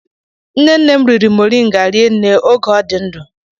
Nnenne m riri moringa rinne oge ọ dị ndụ.